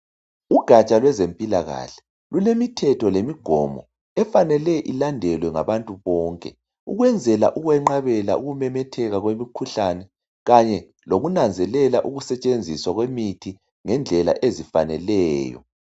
Ugatsha yezempilakahle lulemithetho lemigomo efanele ilandelwe ngabantu bonke. Ukwenzela ukwenqabela kwemikhuhlame lokunanzelela ukusetshenziswa kwemithi ngendlela ezifaneleyo.